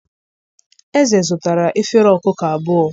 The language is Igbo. eze zụtara efere ọkụkọ abụọ